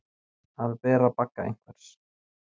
Að bera bagga einhvers